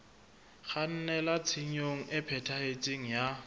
kgannela tshenyong e phethahetseng ya